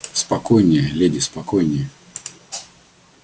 спокойнее леди спокойнее